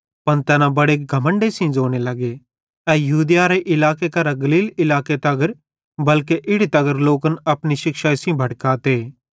पन तैना बड़े घमण्डे सेइं ज़ोने लगे ए यहूदियारे इलाके करां गलील इलाके तगर बल्के इड़ी तगर लोकन अपनी शिक्षाई सेइं भड़काते